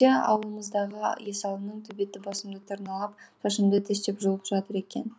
ауылымыздағы есалының төбеті басымды тырналап шашымды тістеп жұлып жатыр екен